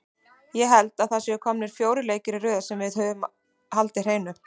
Ég held að það séu komnir fjórir leikir í röð sem við höfum haldið hreinu.